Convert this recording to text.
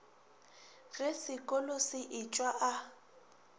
ge sekolo se etšwa a